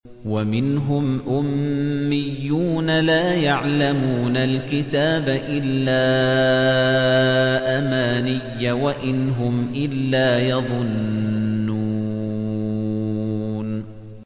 وَمِنْهُمْ أُمِّيُّونَ لَا يَعْلَمُونَ الْكِتَابَ إِلَّا أَمَانِيَّ وَإِنْ هُمْ إِلَّا يَظُنُّونَ